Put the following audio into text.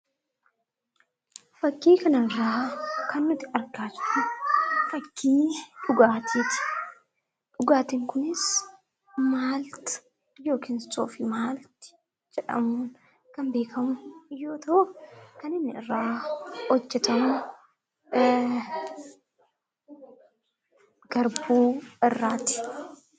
Fakkii kanarraa kan nuti argaa jirru fakkii dhugaatiiti. Dhugaatiin kunis maalti yookiin soofii maalti jedhamuun kan beekamu yoo ta'u, kan inni irraa hojjatamu garbuu irraati.